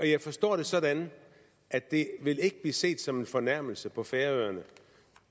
jeg forstår det sådan at det ikke vil blive set som en fornærmelse på færøerne